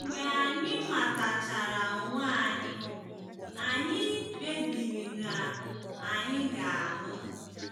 Mgbe anyị matachara onwe anyị, anyị kpebiri na anyị ga-alụ.